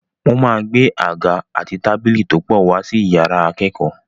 Wọ́n máa gbé àga àti tábìlì tó pọ̀ wá sí yàrá ìkẹ́kọ̀ọ́.